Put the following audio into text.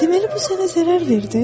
Deməli, bu sənə zərər verdi?